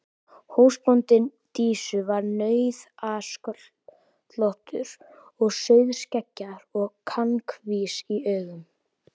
Húsbóndi Dísu var nauðasköllóttur og rauðskeggjaður og kankvís í augum.